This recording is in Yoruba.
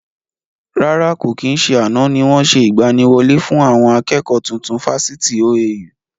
Rárá, kò kí n ṣe àná ni wọn ṣe ìgbàníwọlé fún àwọn akẹ́kọ̀ọ́ tuntun Fáṣítì OAU